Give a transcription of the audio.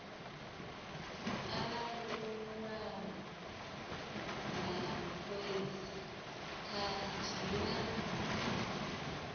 anavhuwaho na phoisi khathihi na